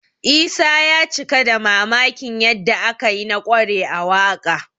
Isa ya cika da mamakin yadda aka yi na ƙware a waƙa